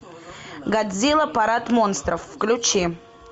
годзилла парад монстров включи